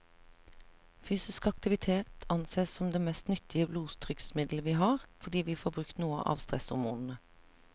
Fysisk aktivitet ansees som det mest nyttige blodtrykksmiddelet vi har, fordi vi får brukt noe av stresshormonene.